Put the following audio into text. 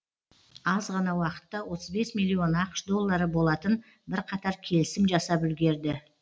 аз ғана уақытта отыз бес миллион ақш доллары болатын бірқатар келісім жасап үлгерді